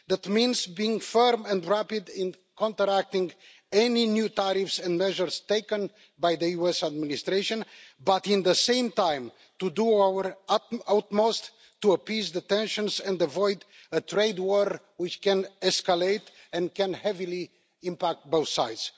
That means being firm and rapid in counteracting any new tariffs and measures taken by the US administration, but at the same time to do our utmost to appease the tensions and avoid a trade war, which could escalate and heavily impact on both sides.